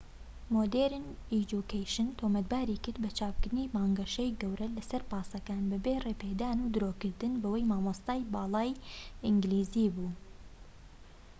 مۆدێرن ئێجوکەیشن تۆمەتباری کرد بە چاپکردنی بانگەشەی گەورە لەسەر پاسەکان بەبێ ڕێپێدان و درۆکردن بەوەی مامۆستای باڵای ئینگلیزی بووە